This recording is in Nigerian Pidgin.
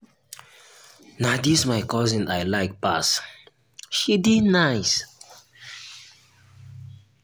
na dis my cousin i like pass she dey nice.